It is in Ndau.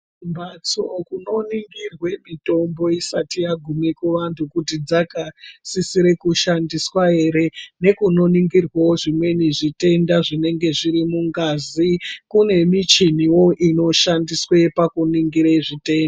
Mumbatso munoningirwe mitombo isati yagume kuvantu kuti dzakasisire kushandiswa here nekunoningirwewo zvimweni zvitenda zvinenge zviri mungazi kune michiniwo inoshandiswe pakuningire zvite..